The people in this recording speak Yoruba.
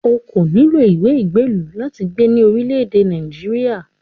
O kò nílò ìwé ìgbélú láti gbé ní orílẹ̀-èdè Nàìjíríà